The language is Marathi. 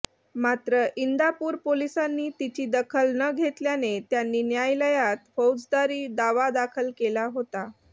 मात्र इंदापूर पोलिसांनी तिची दखल न घेतल्याने त्यांनी न्यायालयात फौजदारी दावा दाखल केला होता